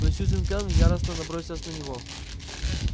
но сьюзен кэлвин яростно набросилась на него